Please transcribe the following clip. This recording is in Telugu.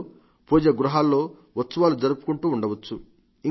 ఆలయాల్లో పూజా గృహాల్లో ఉత్సవాలు జరుపుకుంటూ ఉండవచ్చు